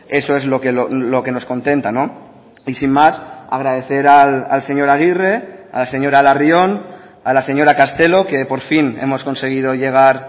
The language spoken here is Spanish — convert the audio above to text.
eso es lo que nos contenta y sin más agradecer al señor aguirre a la señora larrion a la señora castelo que por fin hemos conseguido llegar